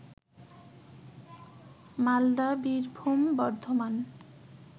Malda, Birbhum, Bardhaman